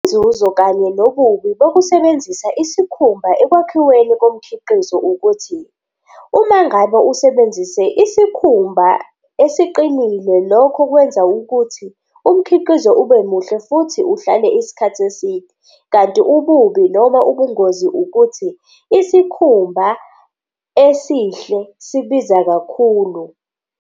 Inzuzo kanye nobubi bokusebenzisa isikhumba ekwakhiweni komkhiqizo ukuthi uma ngabe usebenzise isikhumba esiqinile, lokho kwenza ukuthi umkhiqizo ube muhle, futhi uhlale isikhathi eside. Kanti ububi noma ubungozi ukuthi isikhumba esihle sibiza kakhulu.